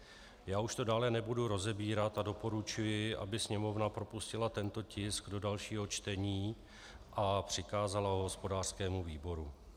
Já už to dále nebudu rozebírat a doporučuji, aby Sněmovna propustila tento tisk do dalšího čtení a přikázala ho hospodářskému výboru.